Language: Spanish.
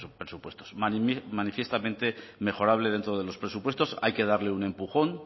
presupuestos manifiestamente mejorable dentro de los presupuestos hay que darle un empujón